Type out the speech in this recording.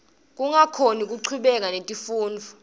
kungakhoni kuchubeka netifundvo